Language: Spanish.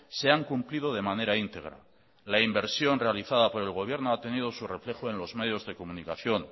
se han cumplido de manera íntegra la inversión realizada por el gobierno ha tenido su reflejo en los medios de comunicación